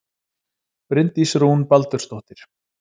Bryndís Rún Baldursdóttir